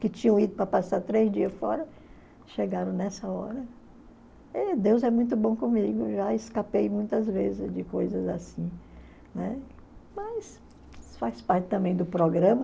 Que tinham ido para passar três dias fora chegaram nessa hora Deus é muito bom comigo, já escapei muitas vezes de coisas assim, né? Mas faz parte também do programa